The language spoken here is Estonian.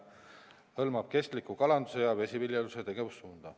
See hõlmab ka vesiviljeluse tegevussuunda.